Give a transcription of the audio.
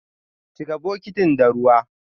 Chika bukitin da ruwa!